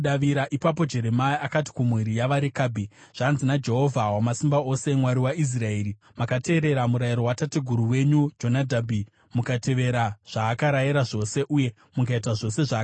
Ipapo Jeremia akati kumhuri yavaRekabhi, “Zvanzi naJehovha Wamasimba Ose, Mwari waIsraeri: ‘Makateerera murayiro watateguru wenyu Jonadhabhi, mukatevera zvaakarayira zvose uye mukaita zvose zvaakatema.’